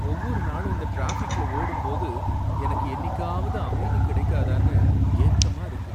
ஒவ்வொரு நாளும் இந்த டிராஃபிக்ல ஓடும்போது எனக்கு என்னிக்காவது அமைதி கிடைக்காதானு ஏக்கமா இருக்கு.